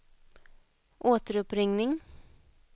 återuppringning